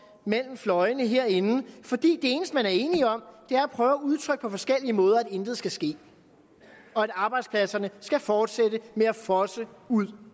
mellem fløjene herinde for det eneste man er enige om er at prøve at udtrykke på forskellige måder at intet skal ske og at arbejdspladserne skal fortsætte med at fosse ud